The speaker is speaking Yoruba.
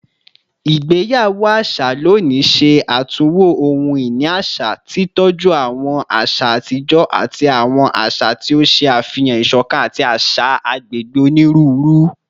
Igbeyawo aṣa loni ṣe atunwo ohun-ini aṣa, titọju awọn aṣa atijọ ati awọn aṣa ti o ṣe afihan isokan ati aṣa ti agbegbe oniruuru